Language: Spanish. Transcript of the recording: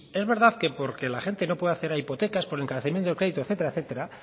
es verdad que porque la gente no puede acceder a hipotecas por encarecimiento de crédito etcétera etcétera